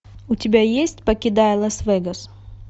у тебя есть покидая лас вегас